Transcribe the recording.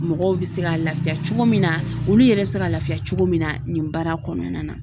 Mɔgɔw bɛ se ka lafiya cogo min na olu yɛrɛ bɛ se ka lafiya cogo min na nin baara kɔnɔna na